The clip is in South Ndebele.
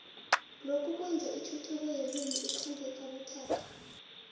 lokhu kwenza ithuthuko yelimi ikhambe kabuthaka